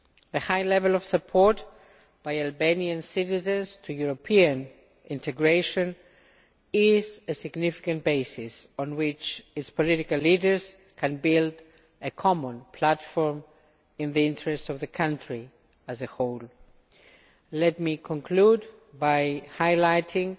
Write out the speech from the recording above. The high level of support among Albanian citizens for European integration is a significant basis on which its political leaders can build a common platform in the interests of the country as a whole. Let me conclude by highlighting